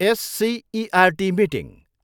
SCERT meeting.